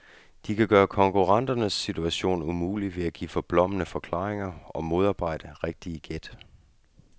De kan gøre konkurrenternes situation umulig ved at give forblommede forklaringer og modarbejde rigtige gæt.